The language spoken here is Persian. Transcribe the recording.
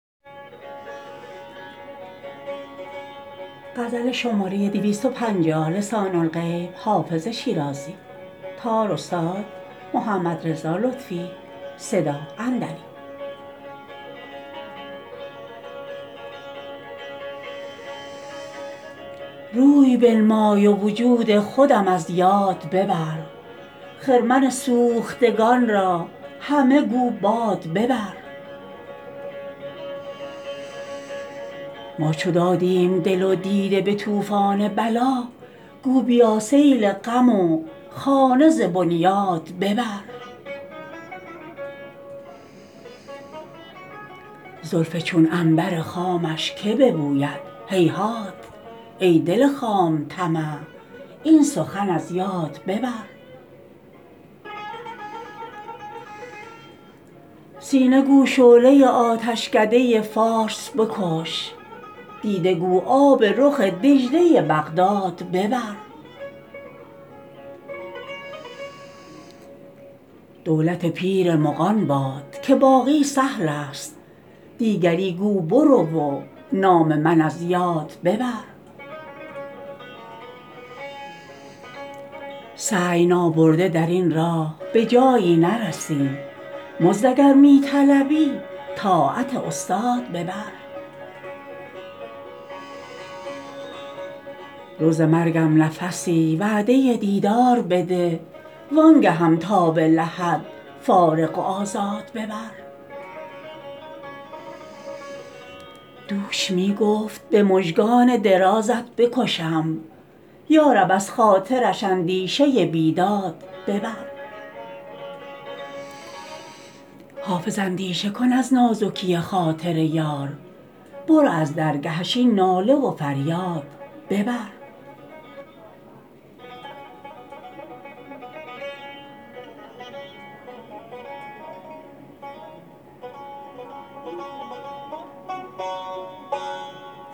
روی بنمای و وجود خودم از یاد ببر خرمن سوختگان را همه گو باد ببر ما چو دادیم دل و دیده به طوفان بلا گو بیا سیل غم و خانه ز بنیاد ببر زلف چون عنبر خامش که ببوید هیهات ای دل خام طمع این سخن از یاد ببر سینه گو شعله آتشکده فارس بکش دیده گو آب رخ دجله بغداد ببر دولت پیر مغان باد که باقی سهل است دیگری گو برو و نام من از یاد ببر سعی نابرده در این راه به جایی نرسی مزد اگر می طلبی طاعت استاد ببر روز مرگم نفسی وعده دیدار بده وآن گهم تا به لحد فارغ و آزاد ببر دوش می گفت به مژگان درازت بکشم یا رب از خاطرش اندیشه بیداد ببر حافظ اندیشه کن از نازکی خاطر یار برو از درگهش این ناله و فریاد ببر